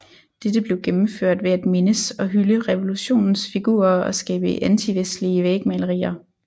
Dette blev gennemført ved at mindes og hylde revulotionens figurer og skabe antivestlige vægmalerier